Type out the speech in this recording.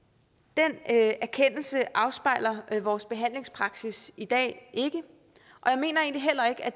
den erkendelse afspejler vores behandlingspraksis i dag ikke og jeg mener egentlig heller ikke at